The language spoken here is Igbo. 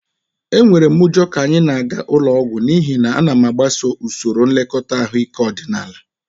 Enwere m ụjọ ka anyị na-aga ụlọ ọgwụ n'ihi na m na-agbaso usoro nlekọta ahụike ọdịnaala